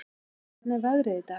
Saxi, hvernig er veðrið í dag?